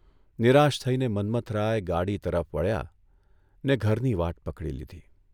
નિરાશ થઇને મન્મથરાય ગાડી તરફ વળ્યા ને ઘરની વાટ પકડી લીધી.